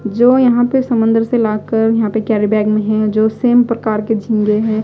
जो यहां पे समंदर से लाकर यहां पे कैरी बैग में है जो सेम प्रकार के झींगे हैं।